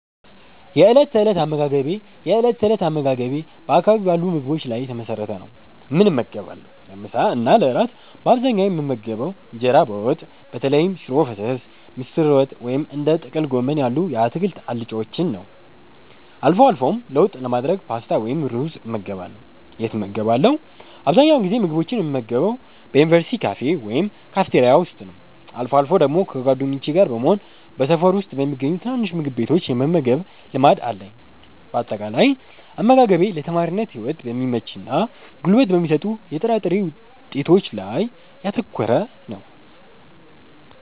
የእለት ተእለት አመጋገቤ የእለት ተእለት አመጋገቤ በአካባቢው ባሉ ምግቦች ላይ የተመሰረተ ነው፦ ምን እመገባለሁ? ለምሳ እና ለእራት በአብዛኛው የምመገበው እንጀራ በወጥ (በተለይም ሽሮ ፈሰስ፣ ምስር ወጥ ወይም እንደ ጥቅል ጎመን ያሉ የአትክልት አልጫዎችን) ነው። አልፎ አልፎም ለውጥ ለማድረግ ፓስታ ወይም ሩዝ እመገባለሁ። የት እመገባለሁ? አብዛኛውን ጊዜ ምግቦችን የምመገበው በዩኒቨርሲቲ ካፌ ወይም ካፍቴሪያ ውስጥ ነው። አልፎ አልፎ ደግሞ ከጓደኞቼ ጋር በመሆን በሰፈር ውስጥ በሚገኙ ትናንሽ ምግብ ቤቶች የመመገብ ልማድ አለኝ። ባጠቃላይ፦ አመጋገቤ ለተማሪነት ህይወት በሚመችና ጉልበት በሚሰጡ የጥራጥሬ ውጤቶች ላይ ያተኮረ ነው።